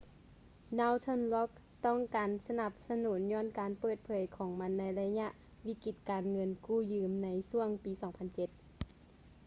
northern rock ຕ້ອງການການສະໜັບສະໜູນຍ້ອນການເປີດເຜີຍຂອງມັນໃນໄລຍະວິກິດການເງິນກູ້ຢືມໃນຊ່ວງປີ 2007